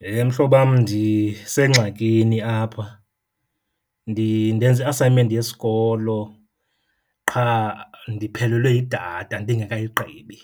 Heh mhlobam, ndisengxakini apha. Ndenza i-assignment yesikolo qha ndiphelelwe yidatha ndingekayigqibi.